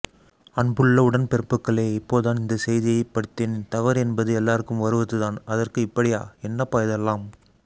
அன்புள்ள உடன் பிறப்புகேள இப்போதான் இந்த செய்திஐ படித்தேன் தவறு எனபது எல்லாருக்கும் வருவதுதான் அதற்கு இப்படியா என்னப்பா இதெல்லாம்